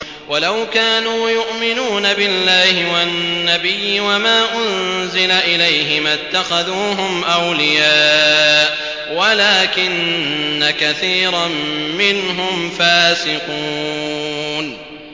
وَلَوْ كَانُوا يُؤْمِنُونَ بِاللَّهِ وَالنَّبِيِّ وَمَا أُنزِلَ إِلَيْهِ مَا اتَّخَذُوهُمْ أَوْلِيَاءَ وَلَٰكِنَّ كَثِيرًا مِّنْهُمْ فَاسِقُونَ